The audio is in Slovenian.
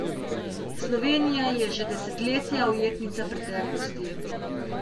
Slovenija je že desetletja ujetnica preteklosti.